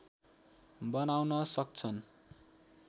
बनाउन सक्छन्